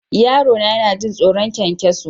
Yarona yana jin tsoron ƙwanƙwaso.